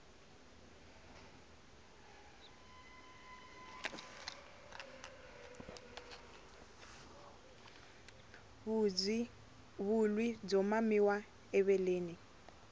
vulyi byo mamiwa eveleni